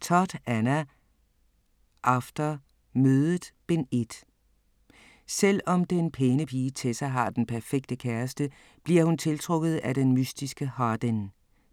Todd, Anna: After: Mødet: Bind 1 Selvom den pæne pige Tessa har den perfekte kæreste, bliver hun tiltrukket af den mystiske Hardin.